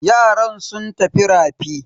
Yaran sun tafi rafi.